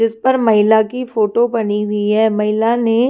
जिस पर महिला की फोटो बनी हुई है महिला ने--